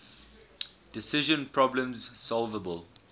decision problems solvable